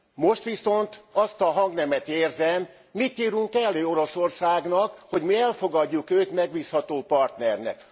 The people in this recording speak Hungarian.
Most viszont azt a hangnemet érzem mit írunk elő Oroszországnak, hogy mi elfogadjuk őt megbízható partnernek?